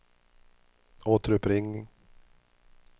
återuppring